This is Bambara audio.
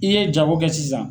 I ye jago kɛ sisan.